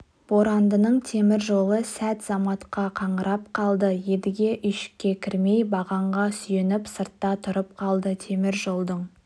борандының темір жолы сәт-заматқа қаңырап қалды едіге үйшікке кірмей бағанға сүйеніп сыртта тұрып қалды темір жолдың